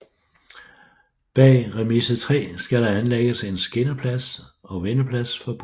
Bag Remise 3 skal der anlægges en skinneplads og vendeplads for busser